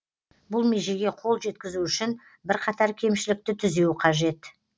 бұл межеге қол жеткізу үшін бірқатар кемшілікті түзеу қажет